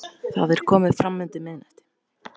Það er komið fram undir miðnætti.